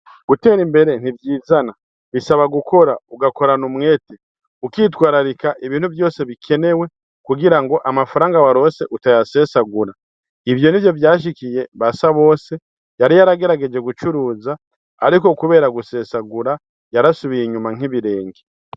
Gutera imbere ntivyizana bisaba gukora , ugakorana umwete , ukitwararika ibintu vyose bikenewe kugira ngo amafaranga waronse utayasesagura . Ivyo nivyo vyashikiye Basabose yari yaragerageje gucuruza ariko kubera gusesagura yarasubiye inyuma nk’ibirenge.